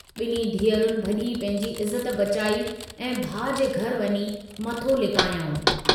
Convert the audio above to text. ॿिन्हीं धीअरुनि भजी पंहिंजी इज्जत बचाई ऐं भाउ जे घर वञी मथो लिकायाऊं।